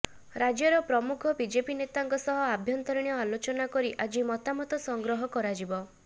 ରାଜ୍ୟର ପ୍ରମୁଖ ବିଜେପି ନେତାଙ୍କ ସହ ଆଭ୍ୟନ୍ତରୀଣ ଆଲୋଚନା କରି ଆଜି ମତାମତ ସଂଗ୍ରହ କରାଯିବ